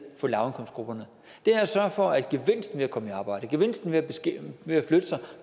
for lavindkomstgrupperne det er at sørge for at gevinsten ved at komme i arbejde gevinsten ved at flytte sig